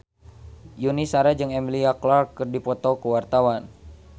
Yuni Shara jeung Emilia Clarke keur dipoto ku wartawan